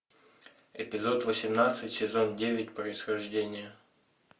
эпизод восемнадцать сезон девять происхождение